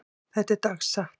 Þetta er dagsatt.